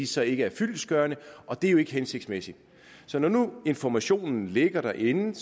så ikke er fyldestgørende og det er jo ikke hensigtsmæssigt så når nu informationen ligger derinde